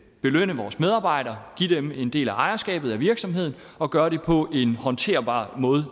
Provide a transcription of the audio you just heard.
belønne vores medarbejdere give dem en del af ejerskabet til virksomheden og gøre det på en skattemæssigt håndterbar måde